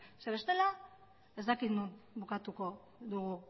zeren bestela ez dakit non bukatuko dugu